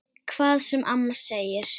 Hvað sem amma segir.